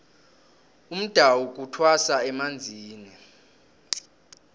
umdawu kuthwasa emanzini